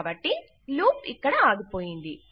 కాబట్టి లూప్ ఇక్కడ ఆగిపోయింది